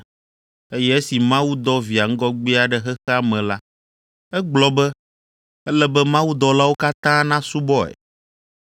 Eye esi Mawu dɔ via ŋgɔgbea ɖe xexea me la, egblɔ be, “Ele be mawudɔlawo katã nasubɔe.”